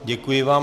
Děkuji vám.